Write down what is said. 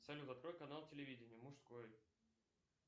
салют открой канал телевидения мужской